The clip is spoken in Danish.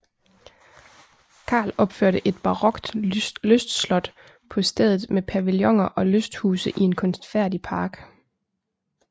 Carl opførte et barokt lystslot på stedet med pavillioner og lysthuse i en kunstfærdig park